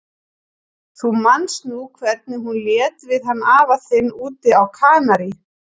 Þú manst nú hvernig hún lét við hann afa þinn úti á Kanarí.